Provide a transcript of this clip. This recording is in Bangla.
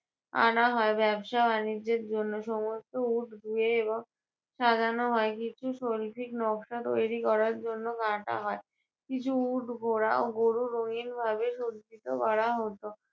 আনা হয়, ব্যবসা বাণীজ্যের জন্য। সমস্ত উট ধুয়ে এবং সাজানো হয়। কিছু শৈল্পিক নকশা তৈরী করার জন্য কাটা হয়। কিছু উট, ঘোড়া ও গরু রঙিন ভাবে সজ্জিত করা হতো।